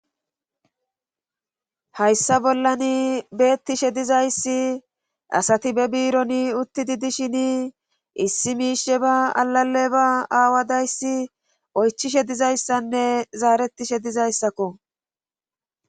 Hayssa bollan beettishe dizayssi asati be biironi utti di dishini issi miishe ba alale ba aawadayssi oychishe dizayssanne zaaretishe dizayssakko